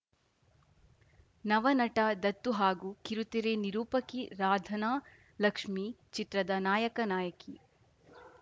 ನವನಟ ದತ್ತು ಹಾಗೂ ಕಿರುತೆರೆ ನಿರೂಪಕಿ ರಾಧನಾ ಲಕ್ಷ್ಮಿ ಚಿತ್ರದ ನಾಯಕನಾಯಕಿ